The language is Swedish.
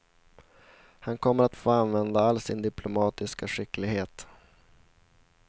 Han kommer att få använda all sin diplomatiska skicklighet.